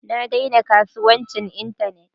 Na daina kasuwancin Internet